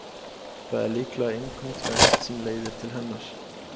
Það er líklega einkum tvennt sem leiðir til hennar.